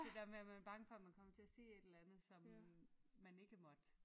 Det dér med man er bange for man kommer til at sige et eller andet som man ikke måtte